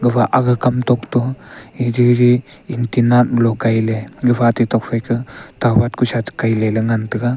gafa aga kam tok to e jijI antenna malo kailey gafa ate tokphaI ka tawat kusa cha kailey ley ngan taiga.